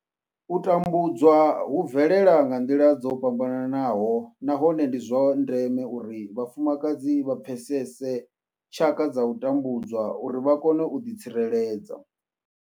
U tambudzwa hu bvelela nga nḓila dzo fhambananaho nahone ndi zwa ndeme uri vhafumakadzi vha pfesese tshaka dza u tambudzwa uri vha kone u ḓi tsireledza.